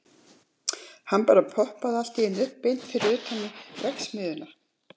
Hann bara poppaði allt í einu upp beint fyrir utan verksmiðjuna.